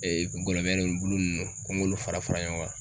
ngɔlɔbɛ bulu nunnu ko n k'olu fara fara ɲɔgɔn kan